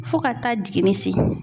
Fo ka taa jiginni se